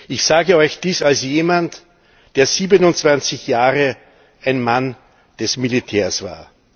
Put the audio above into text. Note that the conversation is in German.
Ich sage euch dies als jemand, der 27 Jahre ein Mann des Militärs war.